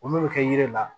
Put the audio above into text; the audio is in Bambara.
Olu bɛ kɛ yiri la